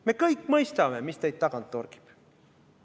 Me kõik mõistame, mis teid tagant torgib.